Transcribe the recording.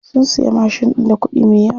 Sun siya mashin ɗin da kuɗi me yawa.